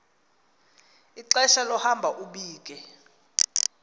ixesha lohambo ubike